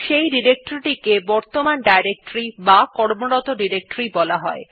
সেই ডিরেক্টরী টিকে বর্তমান ডিরেক্টরী অথবা কর্মরত ডিরেক্টরী বলা হয়